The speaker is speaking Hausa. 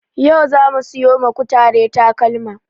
Yau zamu siyo ma kutare takalma